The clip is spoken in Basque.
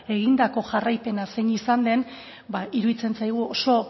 egindako jarraipena zein izan den ba iruditzen zaigu oso